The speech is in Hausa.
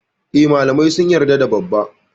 E, malamai sun yarda da dabban.